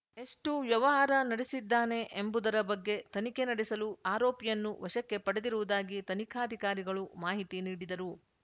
ಎಷ್ಟುವ್ಯವಹಾರ ನಡೆಸಿದ್ದಾನೆ ಎಂಬುದರ ಬಗ್ಗೆ ತನಿಖೆ ನಡೆಸಲು ಆರೋಪಿಯನ್ನು ವಶಕ್ಕೆ ಪಡೆದಿರುವುದಾಗಿ ತನಿಖಾಧಿಕಾರಿಗಳು ಮಾಹಿತಿ ನೀಡಿದರು